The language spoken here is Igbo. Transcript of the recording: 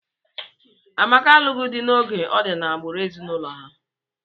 Amaka alụghị di n'oge, ọ di n'agbụrụ ezinụlọ ha.